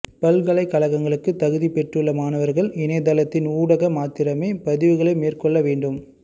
பல்கலைக்கழகங்களுக்கு தகுதி பெற்றுள்ள மாணவர்கள் இணையத்தளத்தின் ஊடாக மாத்திரமே பதிவுகளை மேற்கொள்ள வேண்டும்